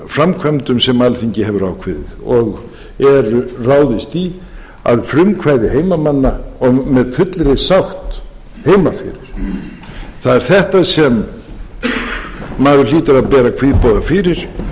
framkvæmdum sem alþingi hefur ákveðið og er ráðist í að frumkvæði heimamanna og með fullri sátt heima fyrir það er þetta sem maður hlýtur að bera kvíðboga fyrir en ég óska ekki eftir því að þessi